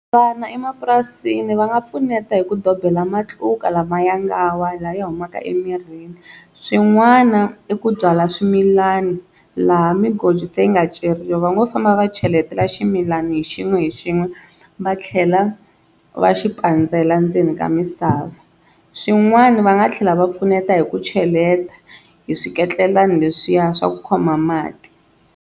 Vana emapurasini va nga pfuneta hi ku dobela matluka lama ya nga wa lawa ya humaka emirhini. Swin'wana i ku byala swimilani laha migodi se yi nga ceriwa va ngo famba va cheletela ximilani hi xin'we xin'we va tlhela va xi pandzela ndzeni ka misava. Swin'wana va nga tlhela va pfuneta hi ku cheleta hi swiketlelani leswiya swa ku khoma mati.